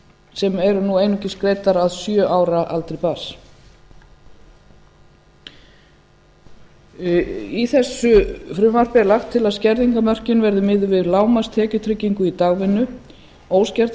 sem eru nú einungis greiddar að sjö ára aldri barns í þessu frumvarpi er lagt til að skerðingarmörkin verði miðuð við lágmarkstekjutryggingu í dagvinnu óskertar